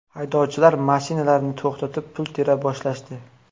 Haydovchilar mashinalarni to‘xtatib, pul tera boshlashdi.